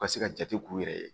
Ka se ka jate k'u yɛrɛ ye